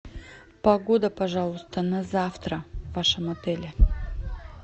погода пожалуйста на завтра в вашем отеле